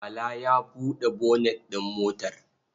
Bala ya buɗe bonet ɗin motar?